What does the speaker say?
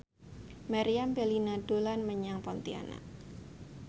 Meriam Bellina dolan menyang Pontianak